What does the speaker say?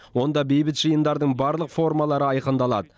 онда бейбіт жиындардың барлық формалары айқындалады